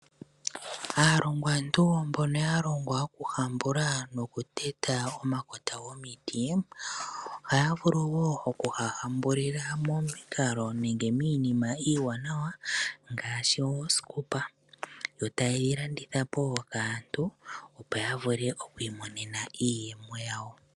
Aalongwantu mbono ya longwa okuhambula nokuteta omakota gomiti ohaya vulu wo okuga hambulila momikalo nenge miinima iiwanawa ngaashi oosikopa. Yo taye yi landitha po kaantu opo ya vule oku imonena iiyemo yawo.